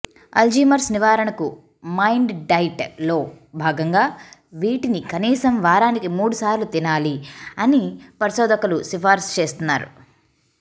Alzheimer's నివారణకు mind diet లో భాగంగా వీటిని కనీసం వారానికి మూడుసార్లు తినాలి అని పరిశోధకులు సిఫార్సు చేస్తున్నారు